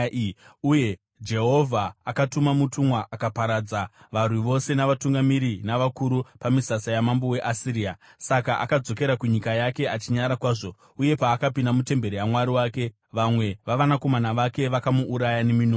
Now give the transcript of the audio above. Uye Jehovha akatuma mutumwa akaparadza varwi vose navatungamiri navakuru pamisasa yamambo weAsiria. Saka akadzokera kunyika yake achinyara kwazvo uye paakapinda mutemberi yamwari wake vamwe vavanakomana vake vakamuuraya neminondo.